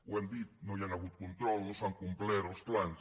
ho hem dit no hi ha hagut control no s’han complert els plans